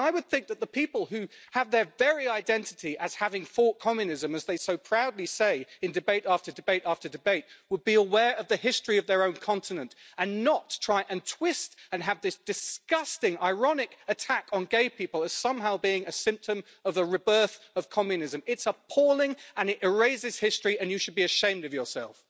I would think that the people who have their very identity as having fought communism as they so proudly say in debate after debate, after debate would be aware of the history of their own continent and not try and twist and have this disgusting, ironic attack on gay people as somehow being a symptom of the rebirth of communism. it is appalling and it erases history and you should be ashamed of yourself.